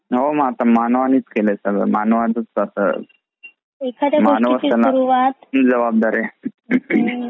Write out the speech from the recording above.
हो आता मानावणीचा केलाय सगळं आता मानवानेच आता